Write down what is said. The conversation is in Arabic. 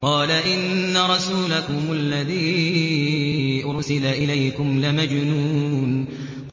قَالَ إِنَّ رَسُولَكُمُ الَّذِي أُرْسِلَ إِلَيْكُمْ لَمَجْنُونٌ